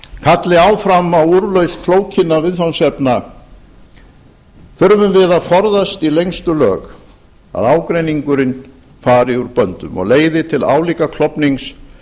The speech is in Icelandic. kalli áfram á úrlausn flókinna viðfangsefna þurfum við að forðast í lengstu lög að ágreiningurinn fari úr böndum og leiði til álíka klofnings